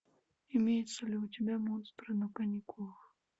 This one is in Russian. имеется ли у тебя монстры на каникулах